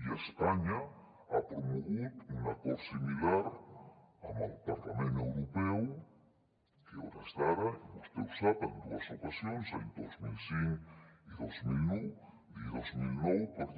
i espanya ha promogut un acord similar amb el parlament europeu que a hores d’ara i vostè ho sap en dues ocasions anys dos mil cinc i dos mil nou encara